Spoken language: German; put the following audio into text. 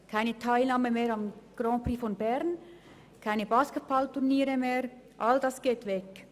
Keine Teilnahme mehr am Grand Prix von Bern und keine Basketballturniere mehr, all das ginge weg.